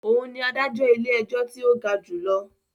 Òún ní adájọ ilé-ẹjọ tí o ga jùlọ